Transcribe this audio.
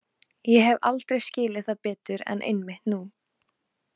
Ég hef aldrei skilið það betur en einmitt nú.